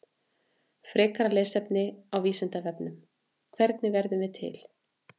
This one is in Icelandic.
Frekara lesefni á Vísindavefnum: Hvernig verðum við til?